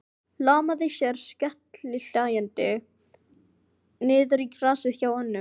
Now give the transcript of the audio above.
Hlammaði sér skellihlæjandi niður í grasið hjá honum.